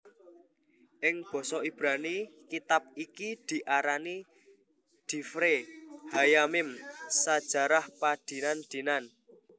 Ing basa Ibrani kitab iki diarani divre hayyamim sajarah padinan dinan